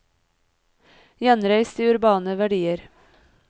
Gjenreis de urbane verdier!